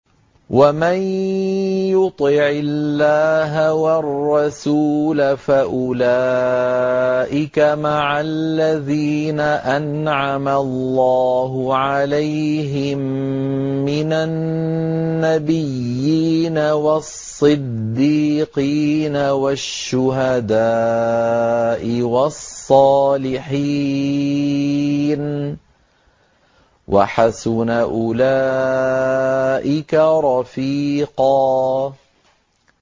وَمَن يُطِعِ اللَّهَ وَالرَّسُولَ فَأُولَٰئِكَ مَعَ الَّذِينَ أَنْعَمَ اللَّهُ عَلَيْهِم مِّنَ النَّبِيِّينَ وَالصِّدِّيقِينَ وَالشُّهَدَاءِ وَالصَّالِحِينَ ۚ وَحَسُنَ أُولَٰئِكَ رَفِيقًا